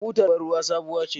Butar bar ruwan sabuwa ce.